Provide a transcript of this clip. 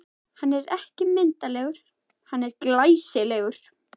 Hann er ekki myndarlegur, hann er glæsilegur!